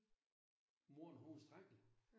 Moren hun var skrækkelig